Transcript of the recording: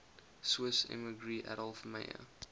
swiss emigree adolf meyer